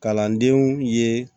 Kalandenw ye